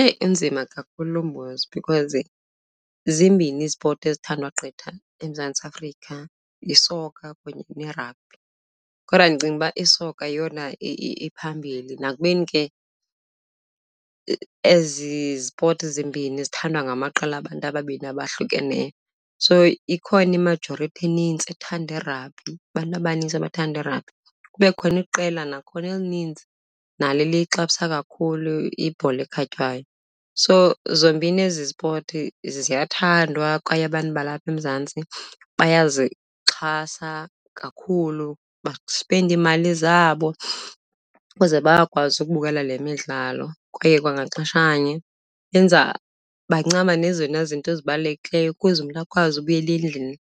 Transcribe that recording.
Eyi inzima kakhulu lo mbuzo because zimbini izipoti ezithandwa gqitha eMzantsi Afrika, yisoka kunye neragbhi. Kodwa ndicinga uba isoka yeyona iphambili nakubeni ke ezi zipoti zimbini zithandwa ngamaqela abantu ababini abahlukeneyo. So ikhona imajorithi enintsi ethanda iragbhi, abantu abanintsi abathanda iragbhi, kube khona iqela nakhona elinintsi nalo eliyixabisa kakhulu ibhola ekhatywayo. So zombini ezi zipoti ziyathandwa kwaye abantu balapha eMzantsi bayazixhasa kakhulu, basipenda iimali zabo ukuze bakwazi ukubukela le midlalo. Kwaye kwangaxeshanye benza, bancama nezona zinto zibalulekileyo ukuze umntu akwazi ubuyela endlini